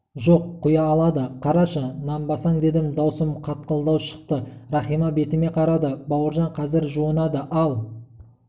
жоқ құя алады қарашы нанбасаң дедім даусым қатқылдау шықты рахима бетіме қарады бауыржан қазір жуынады ал